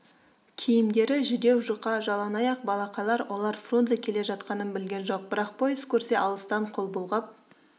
киімдері жүдеу-жұқа жалаңаяқ балақайлар олар фрунзе келе жатқанын білген жоқ бірақ пойыз көрсе алыстан қол бұлғап